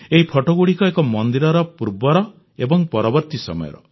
ଏହି ଫଟୋଗୁଡ଼ିକ ଏକ ମନ୍ଦିରର ପୂର୍ବର ଓ ପରବର୍ତ୍ତୀ ସମୟର